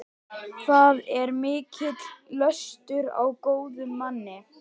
Það er mikill löstur á góðum manni.